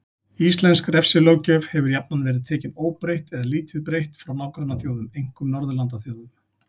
Íslensk refsilöggjöf hefur jafnan verið tekin óbreytt eða lítið breytt frá nágrannaþjóðum, einkum Norðurlandaþjóðum.